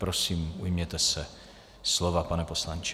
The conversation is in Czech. Prosím, ujměte se slova, pane poslanče.